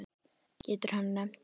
Getur hann nefnt dæmi?